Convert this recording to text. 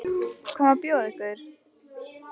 Hvað má bjóða ykkur?